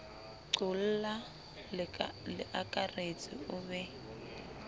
qolla leakaretsi o be o